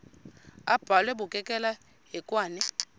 abhalwe bukekela hekwane